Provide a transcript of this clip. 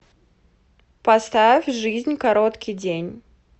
поставь жизнь короткий день